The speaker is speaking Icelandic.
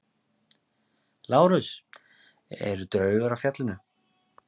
LÁRUS: Eru draugar á fjallinu?